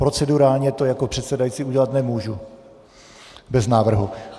Procedurálně to jako předsedající udělat nemůžu bez návrhu.